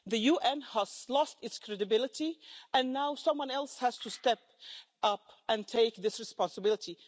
The UN has lost its credibility and now someone else has to step up and take this responsibility.